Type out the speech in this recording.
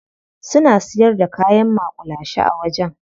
Suna siyar da kayan maƙulashe a wajen.